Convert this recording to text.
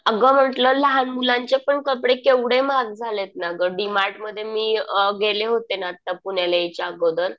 अगं म्हटलं लहान मुलांचे पण कपडे केवढे महाग झालेत ना गं. डीमार्ट मध्ये मी गेले होते ना आता पुण्याला यायच्या अगोदर.